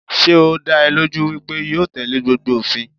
Sé ó dá ẹ lójú wípé yóò tẹ̀lé gbogbo òfin?